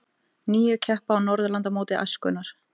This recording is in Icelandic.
Níu keppa á Norðurlandamóti æskunnar